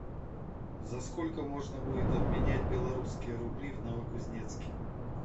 за сколько можно будет обменять белорусские рубли в новокузнецке